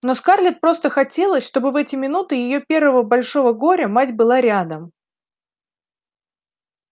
но скарлетт просто хотелось чтобы в эти минуты её первого большого горя мать была рядом